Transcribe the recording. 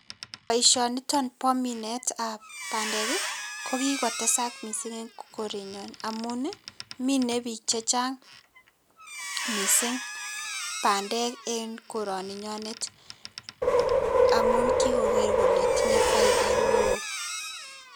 Boisioniton bo minetab bandek ii, ko kikotesak mising eng korenyon amun ii, mine piik che chang mising bandek eng koroninyonet amun kikoker kole tinye faida ne oo.